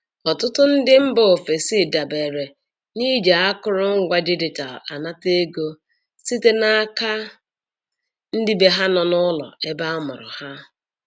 Ọtụtụ ndị bi mba ofesi dabere n'iji akụrụ ngwa digital anata ego site n'aka ndị bee ha nọ n'ụlọ ebe amụrụ ha.